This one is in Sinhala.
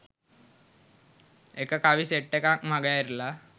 එක කවි සෙට් එකක් මගඇරිලා